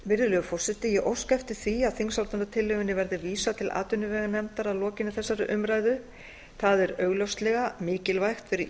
virðulegur forseti ég óska eftir því að þingsályktunartillögunni verði vísað til atvinnuveganefndar að lokinni þessari umræðu það er augljóslega mikilvægt fyrir